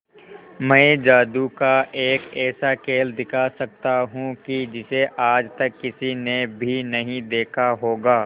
मैं जादू का एक ऐसा खेल दिखा सकता हूं कि जिसे आज तक किसी ने भी नहीं देखा होगा